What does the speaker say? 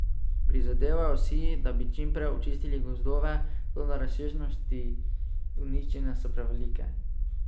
Prizadevajo si, da bi čim prej očistili gozdove, toda razsežnosti uničenja so prevelike.